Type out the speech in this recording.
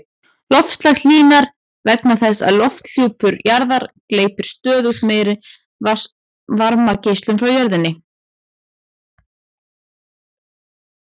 Loftslag hlýnar vegna þess að lofthjúpur jarðar gleypir stöðugt meiri varmageislun frá jörðu.